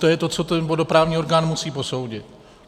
To je to, co ten vodoprávní orgán musí posoudit.